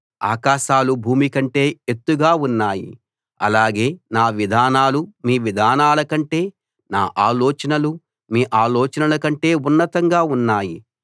ఆకాశాలు భూమి కంటే ఎత్తుగా ఉన్నాయి అలాగే నా విధానాలు మీ విధానాల కంటే నా ఆలోచనలు మీ ఆలోచనల కంటే ఉన్నతంగా ఉన్నాయి